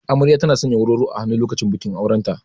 Amarya tana sanya warwaro a hannu lokacin bikin auren ta.